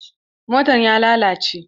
Motan ya lalace.